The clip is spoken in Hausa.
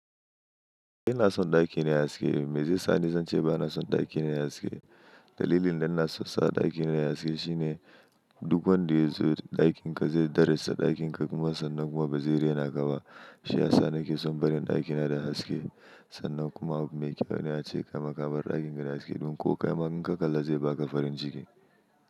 Ina son ɗakina yayi haske, me zai sa ni zan ce ba na son ɗakina yayi haske. Dalilin da na so sa ɗakina yayi haske shine duk wanda ya zo ɗakinka zai darraja ɗakinka kuma sannan kuma ba zai rena ka ba. Shi ya sa nake son barin ɗakina da haske sannan kuma abu mai kyau ne ace kaima kabar ɗakin ka da haske domin ko kaima in ka kalla zai baka farin ciki.